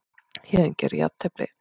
Héðinn gerði jafntefli